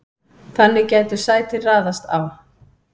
þannig gætu sætin raðast á